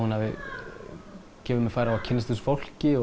gefið mér færi á að kynnast þessu fólki